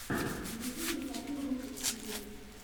на ютюбе хочу русик тиви